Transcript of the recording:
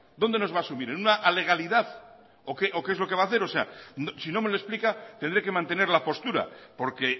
dónde nos va a subir en una alegalidad o qué es lo que hacer si no me lo explica tendré que mantener la postura porque